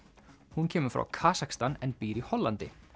hún kemur frá Kasakstan en býr í Hollandi